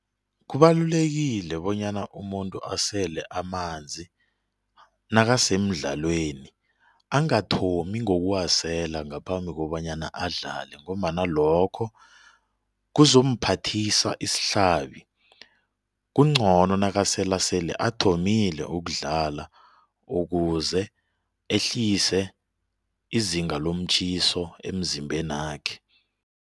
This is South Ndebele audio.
Kubalulekile bonyana umuntu asele amanzi nakasemdlalweni angathomi ngokuwasela ngaphambi kobanyana adlale ngombana lokho kuzomphathisa isihlabi kungcono nakasela sele athomile ukudlala ukuze ehlise izinga lomtjhiso emzimbenakhe.